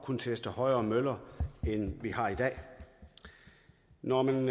kunne teste højere møller end vi har i dag når man